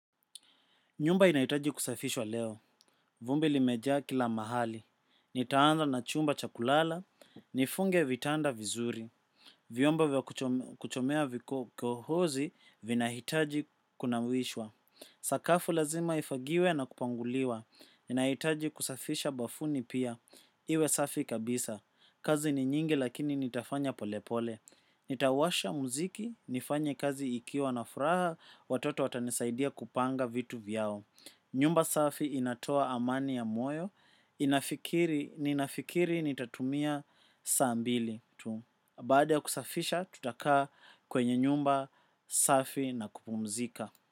Nyumba inahitaji kusafishwa leo. Vumbi limejaa kila mahali. Nitaanza na chumba cha kulala. Nifunge vitanda vizuri. Vyombo vya kuchomea vikohozi vina hitaji kuna wishwa. Sakafu lazima ifagiwe na kupanguliwa. Naitaji kusafisha bafuni pia. Iwe safi kabisa. Kazi ni nyingi lakini nitafanya pole pole. Nitawasha muziki. Nifanye kazi ikiwa na furaha. Watoto watanisaidia kupanga vitu vyao. Nyumba safi inatoa amani ya moyo. Ninafikiri nitatumia saa mbili tu. Baada ya kusafisha tutakaa kwenye nyumba safi na kupumzika.